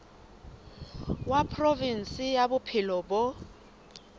wa provinse ya bophelo bo